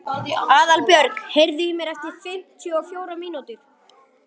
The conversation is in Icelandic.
Aðalbjörg, heyrðu í mér eftir fimmtíu og fjórar mínútur.